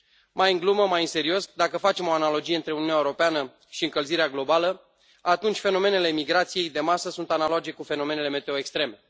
Mai în glumă, mai în serios, dacă facem o analogie între Uniunea Europeană și încălzirea globală, atunci fenomenele migrației de masă sunt analoage cu fenomenele meteo extreme.